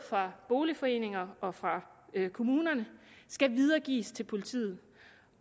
fra boligforeninger og fra kommuner skal videregives til politiet